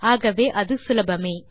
ஆகவே அது சுலபமே